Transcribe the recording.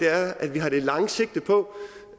er at vi har det lange sigte på